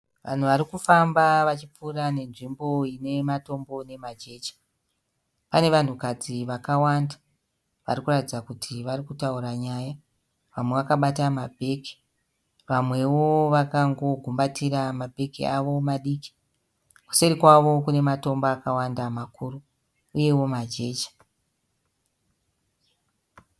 Vanhu varikufamba vachipfuura nenzvimbo ine matombo nemajecha. Pane vanhukadzi vakawanda varikuratidza kuti varikutaura nyaya. Vamwe vakabata ma bhegi vamwewo vakango gumbatira mabhegi avo madikii. Kuseri kwawo kunematombo akawanda makuru, uyewo majecha.